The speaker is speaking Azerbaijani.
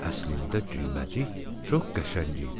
Əslində Düyməcik çox qəşəng idi.